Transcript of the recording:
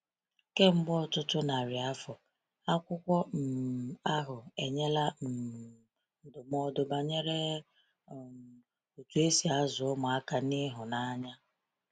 Kemgbe ọtụtụ narị afọ, akwụkwọ um ahụ enyela um ndụmọdụ banyere um otú e si azụ ụmụaka n’ịhụnanya.